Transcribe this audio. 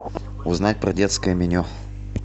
узнать про детское меню